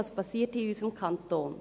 Was passiert in unserem Kanton?